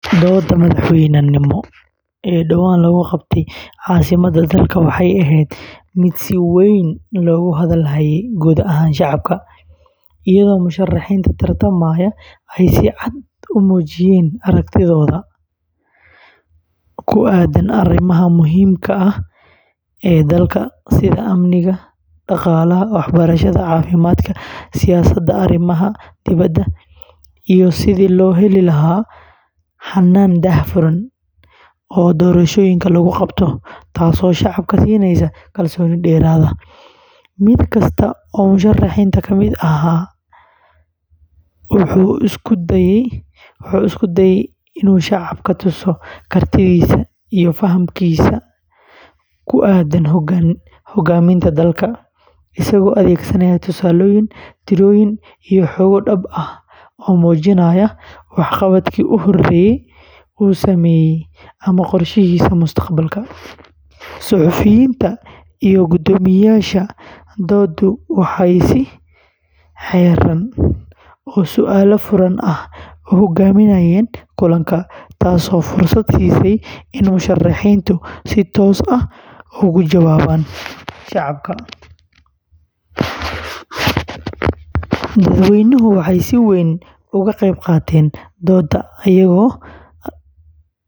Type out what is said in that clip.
Doodda madaxweynenimo ee dhowaan lagu qabtay caasimadda dalka waxay ahayd mid si weyn loogu hadal hayay guud ahaan shacabka, iyadoo musharrixiinta tartamaya ay si cad u muujinayeen aragtidooda ku aaddan arrimaha muhiimka ah ee dalka sida amniga, dhaqaalaha, waxbarashada, caafimaadka, siyaasadda arrimaha dibadda, iyo sidii loo heli lahaa hannaan daahfuran oo doorashooyinka lagu qabto, taasoo shacabka siineysa kalsooni dheeraad ah. Mid kasta oo musharrixiinta ka mid ah wuxuu isku dayay inuu shacabka tuso kartidiisa iyo fahamkiisa ku aaddan hoggaaminta dalka, isagoo adeegsanaya tusaalooyin, tirooyin iyo xogo dhab ah oo muujinaya waxqabadkii uu hore u sameeyay ama qorshayaashiisa mustaqbalka. Suxufiyiinta iyo guddoomiyeyaasha dooddu waxay si xeeran oo su’aalo furan ah u hoggaaminayeen kulanka, taasoo fursad siisay in musharrixiintu si toos ah uga jawaabaan su’aalaha shacabka. Dadweynuhu waxay si weyn uga qayb qaateen dooda.